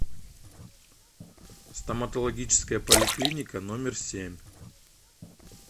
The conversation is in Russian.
стоматологическая поликлиника номер семь